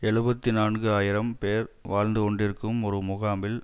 எழுபத்தி நான்கு ஆயிரம் பேர் வாழ்ந்துகொண்டிருக்கும் ஒரு முகாமில்